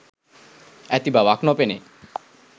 ඇති බවක් නොපෙනේ